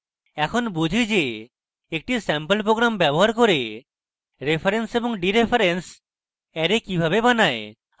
এখন বুঝি যে একটি স্যাম্পল program ব্যবহার করে reference এবং ডিreference অ্যারে কিভাবে বানায়